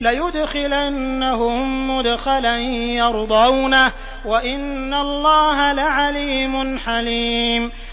لَيُدْخِلَنَّهُم مُّدْخَلًا يَرْضَوْنَهُ ۗ وَإِنَّ اللَّهَ لَعَلِيمٌ حَلِيمٌ